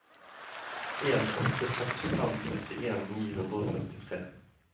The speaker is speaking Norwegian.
en åtte seks fem førtien ni hundre og førtitre